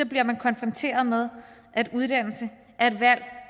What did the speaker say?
bliver man konfronteret med at uddannelse er et valg